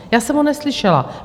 Já jsem ho neslyšela.